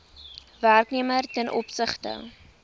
werknemer ten opsigte